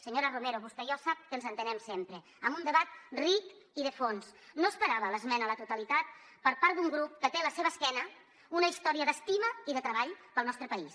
senyora romero vostè i jo sap que ens entenem sempre amb un debat ric i de fons no esperava l’esmena a la totalitat per part d’un grup que té a la seva esquena una història d’estima i de treball pel nostre país